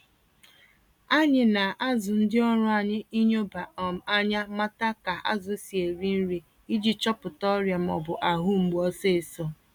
Anyị na-azụ ndị ọrụ anyị ịnyoba um ányá mata ka azụ si eri nri, iji chọpụta ọrịa m'ọbụ ahụ mgbu ọsịsọ.